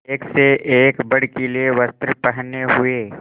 एक से एक भड़कीले वस्त्र पहने हुए